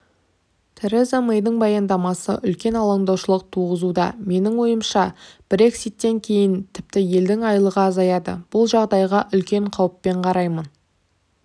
тереза мэйдің баяндамасы үлкен алаңдаушылық туғызуда менің ойымша брекситтен кейін тіпті елдің айлығы азаяды бұл жағдайға үлкен қауіппен қараймын